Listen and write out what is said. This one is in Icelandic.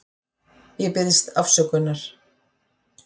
Ég biðst afsökunar.